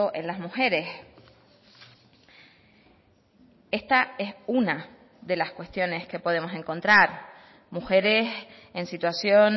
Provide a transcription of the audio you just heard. en las mujeres esta es una de las cuestiones que podemos encontrar mujeres en situación